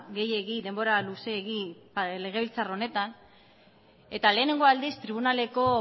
gehiegi denbora luzeegi legebiltzar honetan eta lehenengo aldiz tribunaleko